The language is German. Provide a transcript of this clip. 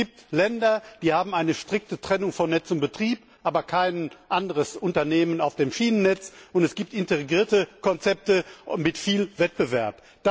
Es gibt Länder, die haben eine strikte Trennung von Netz und Betrieb, aber kein anderes Unternehmen auf dem Schienennetz, und es gibt integrierte Konzepte mit viel Wettbewerb.